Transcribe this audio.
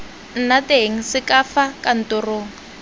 nna teng sk fa kantoro